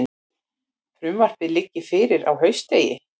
Frumvarpið liggi fyrir á haustþingi